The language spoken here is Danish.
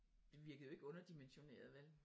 Det virkede jo ikke underdimensioneret vel